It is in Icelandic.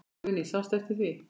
Guðný: Sástu eftir því?